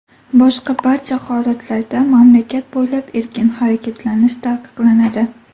Boshqa barcha holatlarda mamlakat bo‘ylab erkin harakatlanish taqiqlanadi.